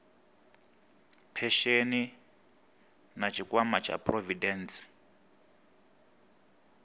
phesheni na tshikwama tsha phurovidende